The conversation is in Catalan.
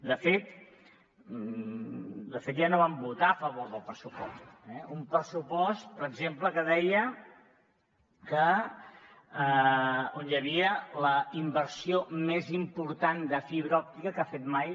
de fet ja no van votar a favor del pressupost eh un pressupost per exemple on hi havia la inversió més important de fibra òptica que ha fet mai